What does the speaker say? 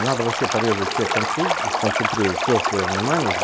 надо вообще порезать все концы и сконцентрировать все своё внимание в